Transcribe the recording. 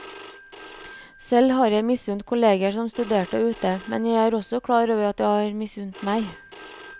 Selv har jeg misunt kolleger som studerte ute, men jeg er også klar over at de har misunt meg.